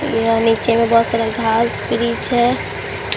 यहां निचे में बहोत सारा घास है।